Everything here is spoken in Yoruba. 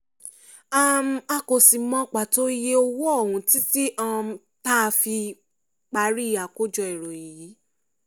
um a kò sì mọ pàtó iye owó ọ̀hún títí um tá a fi parí àkójọ ìròyìn yìí